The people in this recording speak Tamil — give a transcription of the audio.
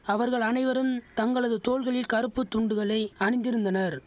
அவர்கள் அனைவருந் தங்களது தோள்களில் கறுப்பு துண்டுகளை அணிந்திருந்தனர்